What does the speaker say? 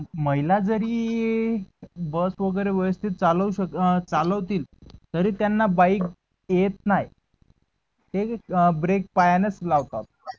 महिला जरी बस वगेरे व्यवस्तीत चाल व अं चालवतील तरी त्यांना बाईक येत नाहे. ते ब्रेक पायांनच लावतात.